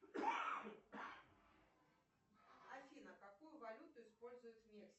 афина какую валюту используют в мексике